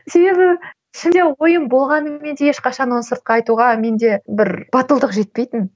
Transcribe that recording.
себебі ішімде ойым болғанымен де ешқашан оны сыртқа айтуға менде бір батылдық жетпейтін